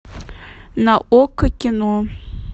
на окко кино